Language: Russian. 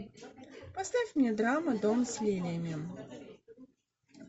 поставь мне драму дом с лилиями